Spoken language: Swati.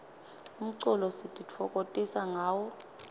umculo sititfokotisa ngawo